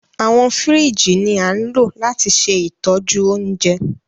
Awọn fírìjí ni a ńlo lati se itoju ounje